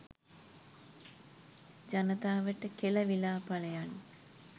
ජනතාවට කෙලවිලා පලයන්